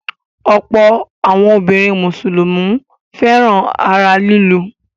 Ọ̀pọ̀ àwọn obìnrin Mùsùlùmí fẹ́ràn ara lílù.